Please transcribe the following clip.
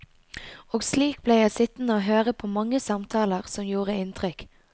Og slik ble jeg sittende høre på mange samtaler som gjorde inntrykk.